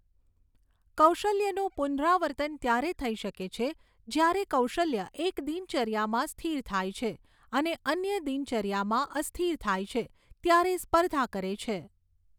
કૌશલ્યનું પુનરાવર્તન ત્યારે થઈ શકે છે જ્યારે કૌશલ્ય એક દિનચર્યામાં સ્થિર થાય છે અને અન્ય દિનચર્યામાં અસ્થિર થાય છે ત્યારે સ્પર્ધા કરે છે.